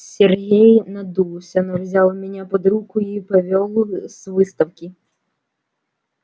сергей надулся но взял меня под руку и повёл с выставки